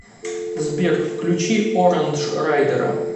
сбер включи орандж райдера